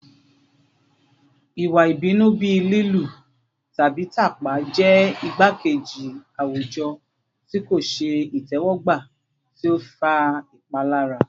Iwa ibinu bii lilu tabi tapa jẹ igbakeji awujọ ti ko ṣe itẹwọgba ti o fa ipalara